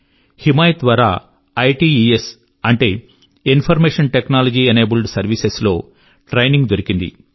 హిమాయత్ ద్వారా ఐట్స్ అంటే information technology enabled services లో ట్రైనింగ్ దొరికింది